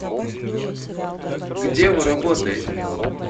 где вы работаете